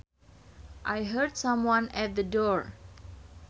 I heard someone at the door